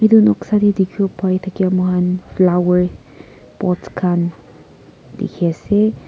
etu noksa te dekhi bo Pari thaka mur khan flower pot khan dekhi ase.